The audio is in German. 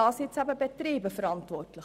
Dafür sind die Betriebe verantwortlich.